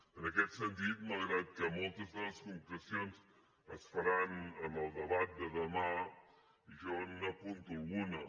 en aquest sentit malgrat que moltes de les concrecions es faran en el debat de demà jo n’apunto alguna